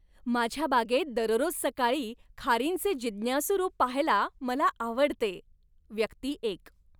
माझ्या बागेत दररोज सकाळी खारींचे जिज्ञासू रूप पाहायला मला आवडते. व्यक्ती एक